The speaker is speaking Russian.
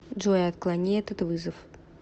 джой отклони этот вызов